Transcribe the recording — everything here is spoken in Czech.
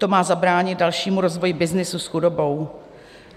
To má zabránit dalšímu rozvoji byznysu s chudobou.